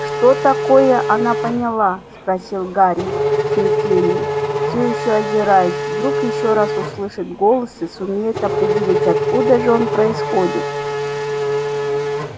что такое она поняла спросил гарри в смятении всё ещё озираясь вдруг ещё раз услышит голос и сумеет определить откуда же он происходит